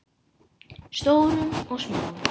Stórum og smáum.